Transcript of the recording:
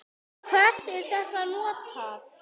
Til hvers er þetta notað?